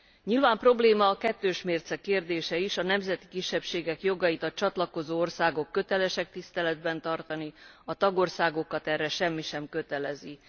Nyilván probléma a kettős mérce kérdése is a nemzeti kisebbségek jogait a csatlakozó országok kötelesek tiszteletben tartani, a tagországokat erre semmi sem kötelezi.